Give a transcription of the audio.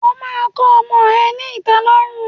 O máa kọ ọmọ ẹ ní ìtẹ́lọ́rùn.